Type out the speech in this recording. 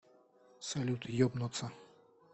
салют ебнуться